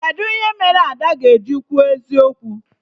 Kedụ ihe mere Ada ga-eji kwuo eziokwu?